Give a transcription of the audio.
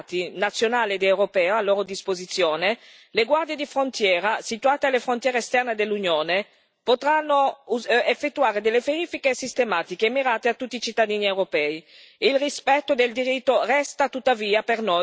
Grazie alle nuove tecnologie disponibili e alle banche dati nazionali ed europee a loro disposizione, le guardie di frontiera situate nelle frontiere esterne dell'Unione potranno effettuare delle verifiche sistematiche e mirate a tutti i cittadini europei.